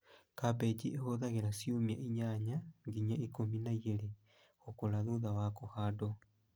Kambĩji ĩhũthagĩra ciumia ĩnyanya nginya ikũmi na igĩrĩ gũkũra thutha wa kũhandwo